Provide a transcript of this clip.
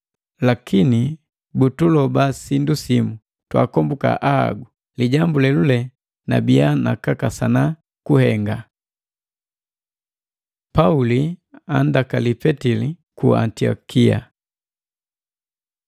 Lakini butuloba sindu simu, twaakomboka ahagu. Lijambu lelule nabiya nakakasana kuhenga. Pauli andakali Petili ku Antiokia